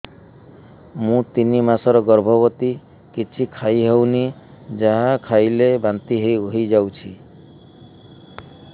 ମୁଁ ତିନି ମାସର ଗର୍ଭବତୀ କିଛି ଖାଇ ହେଉନି ଯାହା ଖାଇଲେ ବାନ୍ତି ହୋଇଯାଉଛି